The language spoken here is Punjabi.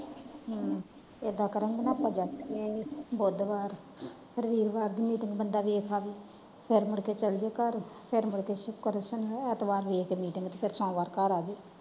ਹਮ ਇੱਦਾ ਕਰਾਂਗੇ ਨਾ ਆਪਾਂ ਜਾ ਕੇ ਬੁਧਵਾਰ ਫੇਰ ਵੀਰਵਾਰ ਦੀ meeting ਬੰਦਾ ਵੇਖ ਆਵੇ ਫੇਰ ਮੁੜ ਕੇ ਚਲਜੇ ਘਰ ਫੇਰ ਮੁੜ ਕੇ ਸ਼ੁਕਰ ਸ਼ਨੀ ਐਤਵਾਰ ਵੇਖ ਕੇ meeting ਫੇਰ ਸੋਮਵਾਰ ਘਰ ਆਵੇ।